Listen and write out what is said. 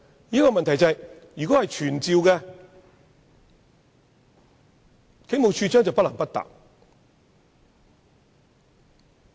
但是，如果立法會傳召，處長便不得不回答。